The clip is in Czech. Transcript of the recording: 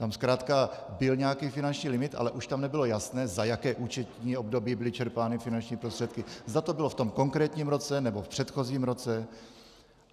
Tam zkrátka byl nějaký finanční limit, ale už tam nebylo jasné, za jaké účetní období byly čerpány finanční prostředky, zda to bylo v tom konkrétním roce, nebo v předchozím roce.